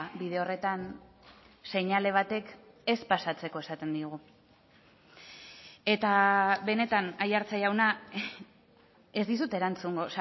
bide horretan seinale batek ez pasatzeko esaten digu eta benetan aiartza jauna ez dizut erantzungo